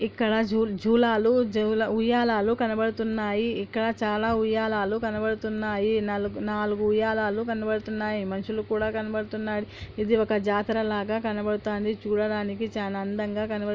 ఇక్కడ జూ-జూలాలు జవుల-ఉయ్యాలలు కనబడుతున్నాయి ఇక్కడ చాలా ఉయ్యాలాలు కనబడుతున్నాయి నలుగు- నాలుగు ఉయ్యాలాలు కనబడుతున్నాయి మనుషులు కూడా కనబడుతున్నారు ఇది ఒక జాతర లాగ కనబడతాంది చూడడానికి చాలా అందంగా కనబ--